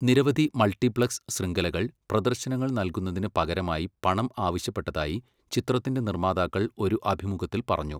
നിരവധി മൾട്ടിപ്ലക്സ് ശൃംഖലകൾ പ്രദർശനങ്ങൾ നൽകുന്നതിന് പകരമായി പണം ആവശ്യപ്പെട്ടതായി ചിത്രത്തിന്റെ നിർമ്മാതാക്കൾ ഒരു അഭിമുഖത്തിൽ പറഞ്ഞു.